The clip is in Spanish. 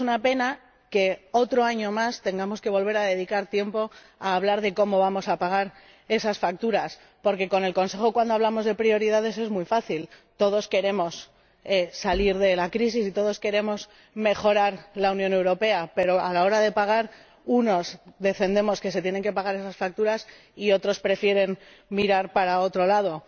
Y es una pena que otro año más tengamos que dedicar tiempo a hablar de cómo vamos a pagar esas facturas, porque hablar de prioridades con el Consejo es muy fácil —todos queremos salir de la crisis y todos queremos mejorar la Unión Europea—, pero, a la hora de pagar, unos defendemos que se tienen que pagar esas facturas y otros prefieren mirar para otro lado.